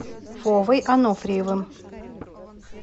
вовой ануфриевым